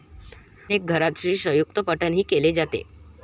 अनेक घरांत श्रीसयुक्तपठणही केले जाते.